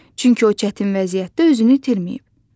Çünki o çətin vəziyyətdə özünü itirməyib.